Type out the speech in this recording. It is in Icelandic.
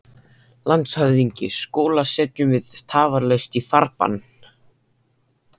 LANDSHÖFÐINGI: Skúla setjum við tafarlaust í farbann.